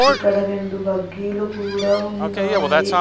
ఇక్కడ రెండు బగ్గీలు కూడా ఉన్నాయి.